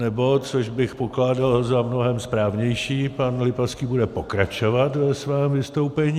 Nebo - což bych pokládal za mnohem správnější - pan Lipavský bude pokračovat ve svém vystoupení.